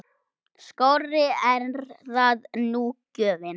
Skárri er það nú gjöfin!